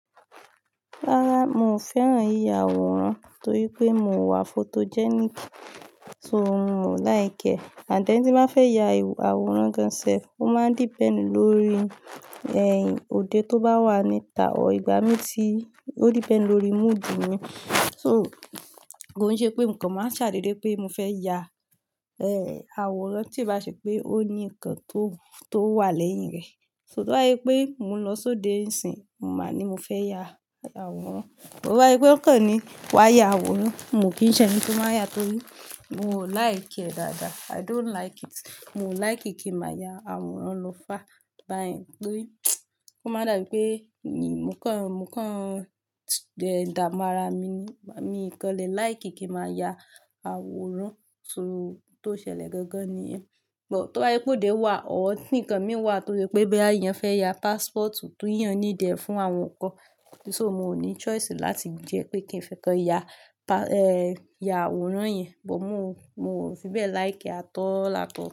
Rárá, mo fẹ́ràn yiyà àwòrán torí pé mio wà photogenic, so òun ò like ẹ. And then tí n bá fẹ́ ya àwòrán gan sef, ó máa ń depend lórí ẹ̀n òde tó bá wà níta or, ìgbà mí tí ó depend lórí mood mi. So kò n ṣe pé mo kan máa ń ṣàdédé pé mo fẹ́ ya, ẹ, àwòrán tí ì bá ṣe pé ó ní nǹkan tó, tó wà lẹ́yìn rẹ. So tó bá jé pé mò ń lọ sóde ni ìsìn, mo máa ní mo fẹ́ ya àwòrán. But to bá jé pé ó kọ́ ni wà yá àwòrán, miò kí ń ṣe eni to máa n yá torí mi ò like ẹ̀ dáadáa. I don't like it. Mio ò like kí n màá yá àwòrán lo far bá ẹ̀n torí ó má dà bí pé mi, mò kàn, mò kàn, n dàmu ara mi ni. Mi i kan de like kí n màá yá àwòrán. So n tó ṣẹlẹ̀ gangan ni yẹn. But tó bá jé pé òde wà or ti nǹkan mii wà to se pé boya eeyàn fẹ́ yá passport ti eeyàn need e fún àwọn nǹkan. So miò ní choice láti jẹ́ pé kí n fẹ́ekan yá, pa, ẹ́, yá àwòrán yẹn. But miò, miò fi bẹ́ẹ̀ like e at all at all.